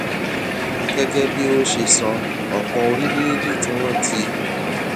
gégé bí ó ṣe sọ òpò orílèèdè tí wón ti